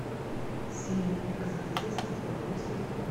синий экзорцист второй сезон